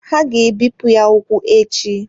Ha ga-ebipụ ya ụkwụ echi.